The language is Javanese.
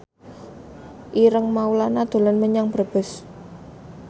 Ireng Maulana dolan menyang Brebes